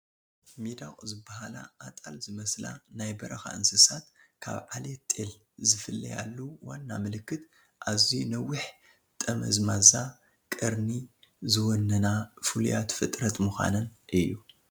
ሚዳቕ ዝበሃላ ኣጣል ዝመስላ ናይ በረኻ እንስሳት ካብ ዓሌት ጤል ዝፍለያሉ ዋና ምልክት ኣዝዩ ነዊሕ ጠመዝማዛ ቀርኒ ዝወነና ፍሉያት ፍጥረት ምዃነን እዩ፡፡